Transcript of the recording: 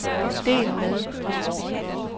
del med